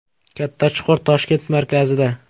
Katta chuqur Toshkent markazida.